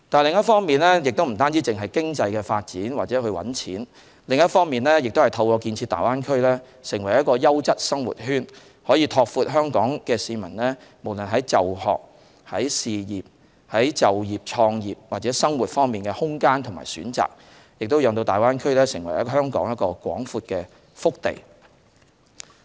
另一方面，除了經濟發展或賺錢外，亦可透過建設大灣區成為一個優質生活圈，拓闊香港市民無論在就學、就業、創業或生活方面的空間和選擇，使大灣區成為香港廣闊的腹地。